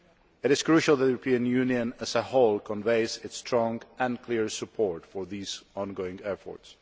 It is crucial that the European Union as a whole conveys its strong and clear support for these ongoing efforts.